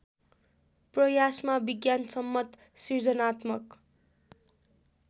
प्रयासमा विज्ञानसम्मत सिर्जनात्मक